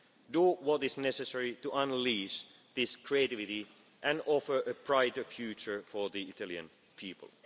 your hands. Do what is necessary to unleash this creativity and offer a brighter future for the Italian